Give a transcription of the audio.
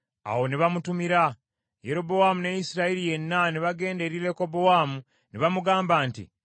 Awo ne bamutumira, Yerobowaamu ne Isirayiri yenna ne bagenda eri Lekobowaamu ne bamugamba nti,